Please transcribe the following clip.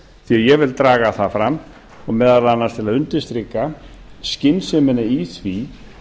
því ég vil draga það fram og meðal annars til að undirstrika skynsemina í því